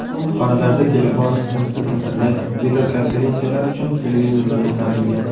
Xonalarda telefon, simsiz internet, videokonferensiyalar uchun televizorlar o‘rnatilgan.